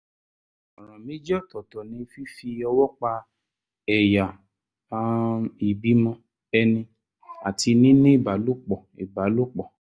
ọ̀ràn méjì ọ̀tọ̀ọ̀tọ̀ ni fífi ọwọ́ pa ẹ̀yà um ìbímọ ẹni àti níní ìbálòpọ̀ ìbálòpọ̀